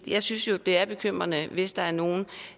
jeg synes jo det er bekymrende hvis der er nogle